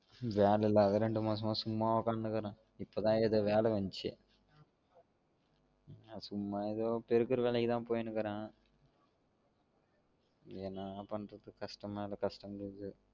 வேல இல்லாம ரெண்டு மாசம் சும்மாவே உக்காந்துனு இருக்குறன், இப்ப தான் ஏதோ வேல வந்தச்சு, சும்மா ஏதோ பெருக்குற வேலைக்கு போயிநிருக்குரன் என்னதான் பண்றது கஷ்டம் மேல கஷ்டம் வருது